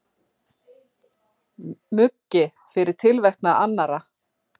Muggi fyrir tilverknað annarra.